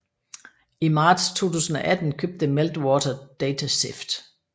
I marts 2018 købte Meltwater DataSift